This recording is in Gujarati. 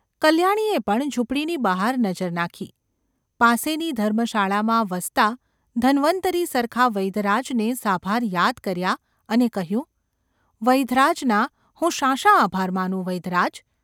કલ્યાણીએ પણ ઝૂંપડીની બહાર નજર નાખી પાસેની ધર્મશાળામાં વસતા ધન્વંતરિ સરખા વૈદ્યરાજને સાભાર યાદ કર્યા અને કહ્યું :​ ‘વૈદ્યરાજના હું શા શા આભાર માનું ?’ ‘વૈદ્યરાજ !.